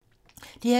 DR2